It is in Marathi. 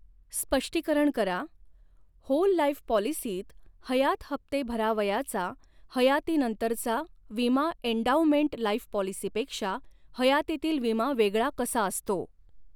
स्पष्टीकरण करा, होल लाईफ पॉलिसीत हयात हप्ते भरावयाचा हयातीनंतरचा विमा एंडाउमेंट लाईफ पॉलिसीपेक्षा हयातीतील विमा वेगळा कसा असतो.